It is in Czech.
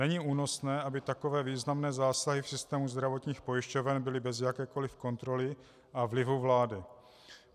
Není únosné, aby takové významné zásahy v systému zdravotních pojišťoven byly bez jakékoliv kontroly a vlivu vlády.